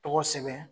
Tɔgɔ sɛbɛn